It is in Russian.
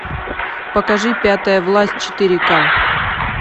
покажи пятая власть четыре ка